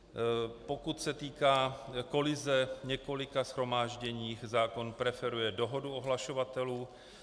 Pokud se týká kolize několika shromáždění, zákon preferuje dohodu ohlašovatelů.